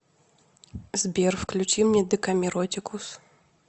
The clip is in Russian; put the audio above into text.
сбер включи мне декамиротикус